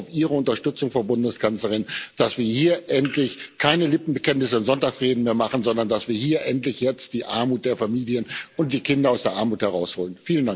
Ich hoffe auf Ihre Unterstützung, Frau Bundeskanzlerin, dass wir hier endlich keine Lippenbekenntnisse in Sonntagsreden mehr abgeben, sondern dass wir hier endlich jetzt die Familien und die Kinder aus der Armut herausholen.